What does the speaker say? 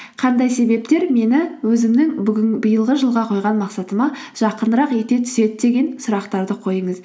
қандай себептер мені өзімнің биылғы жылға қойған мақсатыма жақынырақ ете түседі деген сұрақтарды қойыңыз